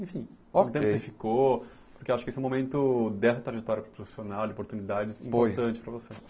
Enfim, okay O tempo que você ficou, porque acho que esse é um momento dessa trajetória profissional, de oportunidades, Foi Importante para você.